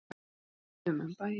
Við rúntuðum um bæinn.